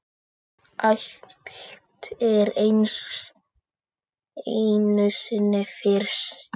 Allt er einu sinni fyrst.